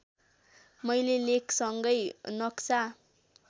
मैले लेखसँगै नक्सा